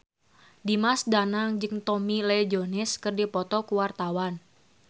Dimas Danang jeung Tommy Lee Jones keur dipoto ku wartawan